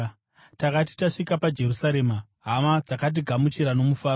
Takati tasvika paJerusarema, hama dzakatigamuchira nomufaro.